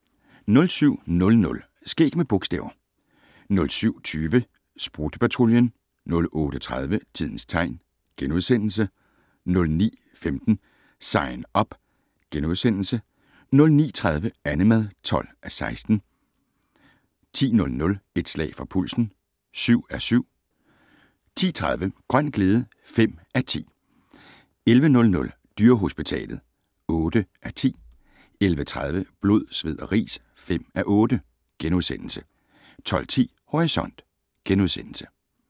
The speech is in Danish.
07:00: Skæg med bogstaver 07:20: Sprutte-Patruljen 08:30: Tidens tegn * 09:15: Sign Up * 09:30: Annemad (12:16) 10:00: Et slag for pulsen (7:7) 10:30: Grøn glæde (5:10) 11:00: Dyrehospitalet (8:10) 11:30: Blod, sved og ris (5:8)* 12:10: Horisont *